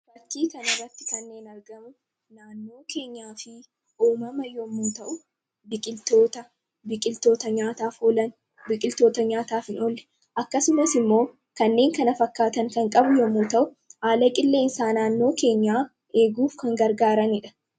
Fakkii kanarratti kan argaman naannoo keenyaa fi uumama yoo ta’u, biqiltoota nyaataaf oolan, biqiltoota nyaataaf hin oolle, akkasummas immoo kanneen kana fakkaatan kan qabu yoo ta’u, haala qilleensaa naannoo keenyaa eeguuf kan gargaaranidha.